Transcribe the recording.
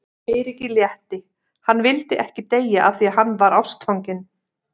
Eiríki létti, hann vildi ekki deyja af því að hann var ástfanginn.